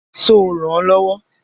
Ṣo rànán lọ́wọ́?